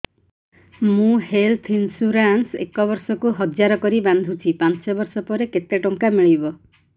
ମୁ health insurance ଏକ ବର୍ଷକୁ ହଜାର କରି ବାନ୍ଧୁଛି ପାଞ୍ଚ ବର୍ଷ ପରେ କେତେ ଟଙ୍କା ମିଳିବ